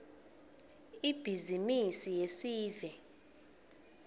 ibhizimisi yesive